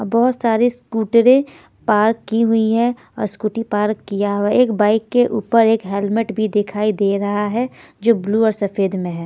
और बहुत सारी स्कूटरें पार्क की हुई है और स्कूटी पार्क किया हुआ है एक बाइक के ऊपर एक हेलमेट भी दिखाई दे रहा है जो ब्लू और सफ़ेद में है।